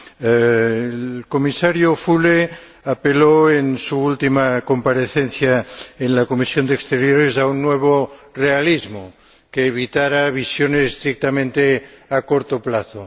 El Comisario Füle apeló, en su última comparecencia ante la Comisión de Asuntos Exteriores, a un nuevo realismo que evitara visiones estrictamente a corto plazo.